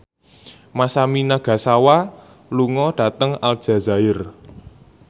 Masami Nagasawa lunga dhateng Aljazair